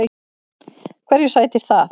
Hverju sætir það?